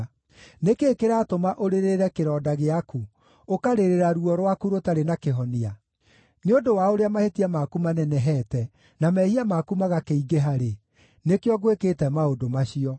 Nĩ kĩĩ kĩratũma ũrĩrĩre kĩronda gĩaku, ũkarĩrĩra ruo rwaku rũtarĩ na kĩhonia? Nĩ ũndũ wa ũrĩa mahĩtia maku manenehete na mehia maku magakĩingĩha rĩ, nĩkĩo ngwĩkĩte maũndũ macio.